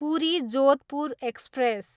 Puri, Jodhpur express